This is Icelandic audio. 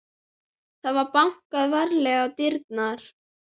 Það var bankað varlega á dyrnar.